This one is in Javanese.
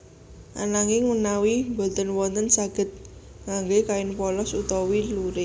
Ananging menawi boten wonten saged ngangge kain polos utawi lurik